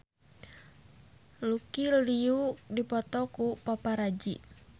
Lucy Liu dipoto ku paparazi